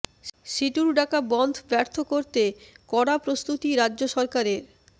সিটুর ডাকা বনধ ব্যর্থ করতে কড়া প্রস্তুতি রাজ্য সরকারের